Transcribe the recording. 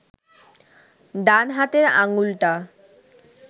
ডান হাতের আঙুলটা